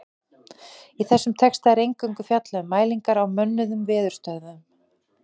Í þessum texta er eingöngu fjallað um mælingar á mönnuðum veðurstöðvum.